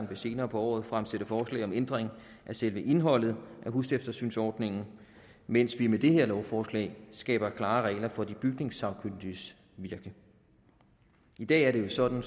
vil senere på året fremsætte forslag om ændring af selve indholdet af huseftersynsordningen mens vi med det her lovforslag skaber klarere regler for de bygningssagkyndiges virke i dag er det jo sådan